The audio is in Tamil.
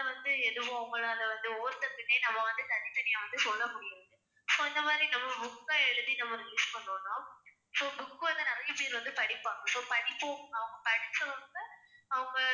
வந்து எதுவும் அவங்களால வந்து ஒவ்வொருத்தருக்குமே நம்ம வந்து தனித்தனியா வந்து சொல்ல முடியாது so இந்த மாதிரி நம்ம book அ எழுதி நம்ம அதை release பண்ணோம்ன்னா so book வந்து நிறைய பேர் வந்து படிப்பாங்க so படிப்போம் அவங்க படிச்சவங்க அவங்க